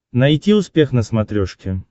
найти успех на смотрешке